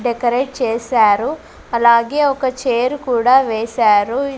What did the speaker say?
Decorate చేశారు అలాగే ఒక చేరు కూడా వేశారు.